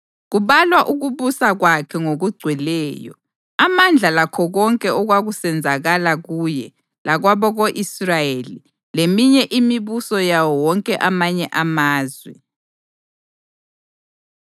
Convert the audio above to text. Kubalwa ukubusa kwakhe ngokugcweleyo, amandla lakho konke okwakusenzakala kuye lakwabako-Israyeli leminye imibuso yawo wonke amanye amazwe.